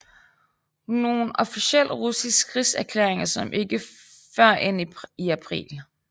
Nogen officiel russisk krigserklæring kom ikke førend i april